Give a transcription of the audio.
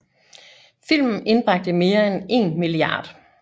Filmen indbragte mere end 1 mia